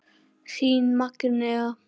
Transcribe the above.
Þín Magnea.